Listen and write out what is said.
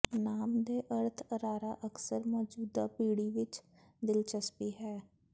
ਨਾਮ ਦੇ ਅਰਥ ਅਰਾਰਾ ਅਕਸਰ ਮੌਜੂਦਾ ਪੀੜ੍ਹੀ ਵਿੱਚ ਦਿਲਚਸਪੀ ਹੈ